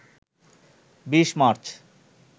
২০ March